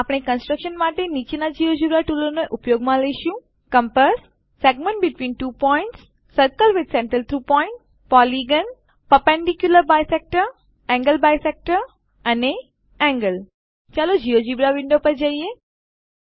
આપણે કંસ્ટ્રક્શન માટે નીચેના જિયોજેબ્રા ટૂલોને ઉપયોગમાં લઈશું compass segment between two points circle with center through point polygon perpendicular bisector angle bisector અને એન્ગલ ચાલો જિયોજેબ્રા વિન્ડો પર જઈએ